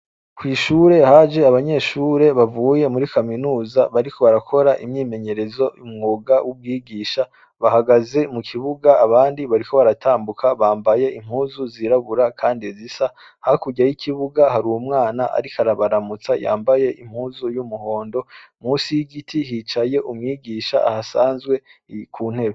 Kw'ishure haje abanyeshure bavuye muri kaminuza bariko barakora imyimenyerezo m'umwuga w'ubwigisha bahagaze mukibuga abandi bariko baratambuka bambaye impuzu zirabura kandi zisa. Hakurya y'ikibuga hari umwana arik'arabaramutsa yambaye impuzu y'umuhondo. Munsi y'igiti hicaye umwigisha ahasanzwe ni kuntebe.